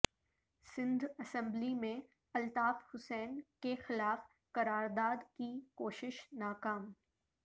Sindh assembly میں الطاف حسین کے خلاف قرارداد کی کوشش ناکام